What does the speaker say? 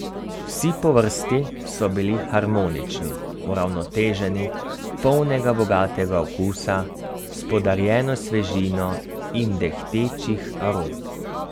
Vsi po vrsti so bili harmonični, uravnoteženi, polnega, bogatega okusa s podarjeno svežino in dehtečih arom.